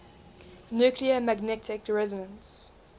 nuclear magnetic resonance